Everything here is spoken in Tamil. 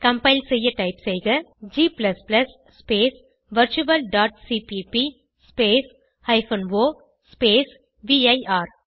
கம்பைல் செய்ய டைப் செய்க g ஸ்பேஸ் virtualசிபிபி ஸ்பேஸ் o ஸ்பேஸ் விர்